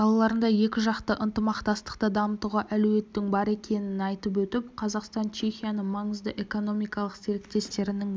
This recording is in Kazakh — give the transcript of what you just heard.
салаларында екіжақты ынтымақтастықты дамытуға әлеуеттің бар екенін айтып өтіп қазақстан чехияны маңызды экономикалық серіктестерінің бірі